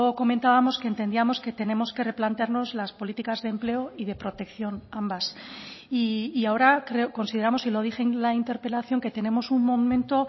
comentábamos que entendíamos que tenemos que replantearnos las políticas de empleo y de protección ambas y ahora consideramos y lo dije en la interpelación que tenemos un momento